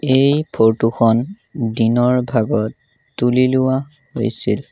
এই ফৰটো খন দিনৰ ভাগত তুলি লোৱা হৈছিল।